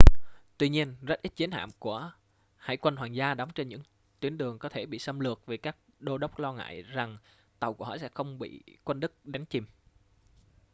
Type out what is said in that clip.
tuy nhiên rất ít chiến hạm của hải quân hoàng gia đóng trên những tuyến đường có thể bị xâm lược vì các đô đốc lo ngại rằng tàu của họ sẽ bị không quân đức đánh chìm